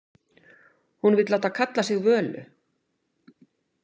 Hún vill láta kalla sig Völu.